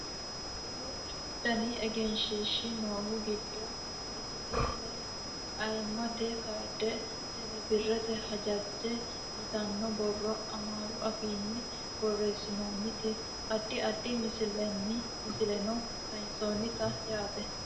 duuchu dani egenshiishshi noohu giddo dijjitaale ayiimmate kaarde tele birrete hajajje yitanno borro amaaru afiinni borreessinoonnite addi addi misileno kayiinsoonnite yaate